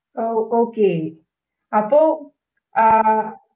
ഓ, okay അപ്പൊ ആഹ്